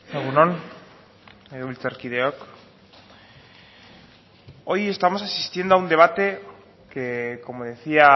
egun on legebiltzarkideok hoy estamos asistiendo a un debate que como decía